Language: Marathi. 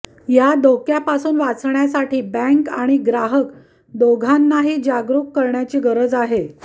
या धोक्यापासून वाचण्यासाठी बँक आणि ग्राहक दोघांनाही जागरुक करण्याची गरज आहे